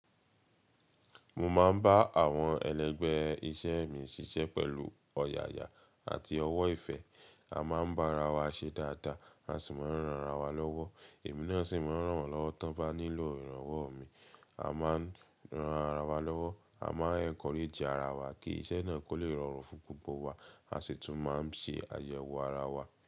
Mo máa ń bá àwọn ẹlẹgbẹ́ iṣẹ́ mi ṣiṣẹ́ pẹ̀lú ọ̀yàyà àti ọwọ́ ìfẹ́. A máa ń bá ara wa ṣe dáadáa, a sì máa ń ràn ara wa lọ́wọ́. Èmi náà sì máa ń ràn wọ́n lọ́wọ́ tí wọ́n bá nílò ìrànwọ́ mi. A máa ń ran ara wa lọ́wọ́, a máa encourage ara wa kí iṣẹ́ náà kó lè rọrùn fún gbogbo wa, a sì tún máa ń ṣe àyẹ̀wò ara wa.